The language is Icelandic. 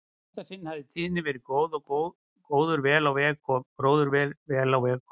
Í þetta sinn hafði tíðin verið góð og gróður vel á veg kominn.